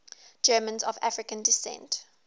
germans of african descent